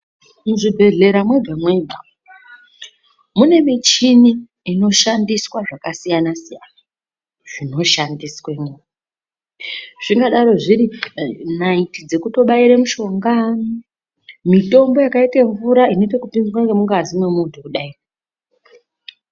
Muzvibhehlera mwega mwega mune michini inoshandiswe zvakasiyanasiyana zvinoshandiswemwo, zvinodaro zviri naiti dzekutobaire mushonga mitombo yakaite mvura inoitekutemwa ngemungazi yemunhu kudai.